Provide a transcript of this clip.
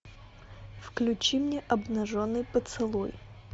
включи мне обнаженный поцелуй